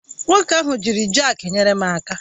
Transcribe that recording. Nwoke ahụ jiri jakị nyere m aka